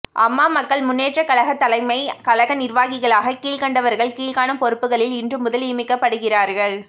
அம்மா மக்கள் முன்னேற்றக் கழக தலைமைக் கழக நிர்வாகிகளாக கீழ்கண்டவர்கள் கீழ்காணும் பொறுப்புகளில் இன்று முதல் நியமிக்கப்படுகிறார்கள்